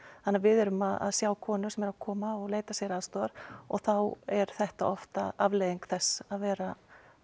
þannig að við erum að sjá konur sem koma og leita sér aðstoðar og þá er þetta oft afleiðing þess að vera